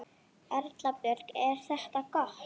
Erla Björg: Er þetta gott?